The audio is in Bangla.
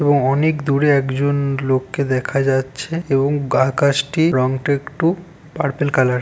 এবং অনেক দূরে একজন লোককে দেখা যাচ্ছে এবং গা-- আকাশটি রংটা একটু পার্পেল কালার ।